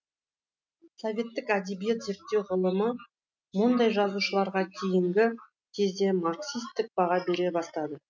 советтік әдебиет зерттеу ғылымы мұндай жазушыларға кейінгі кезде марксистік баға бере бастады